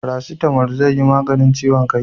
Farasitamo zai yi maganin ciwon kai